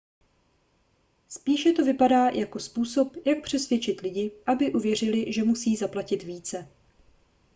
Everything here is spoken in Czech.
spíše to vypadá jako způsob jak přesvědčit lidi aby uvěřili že musí zaplatit více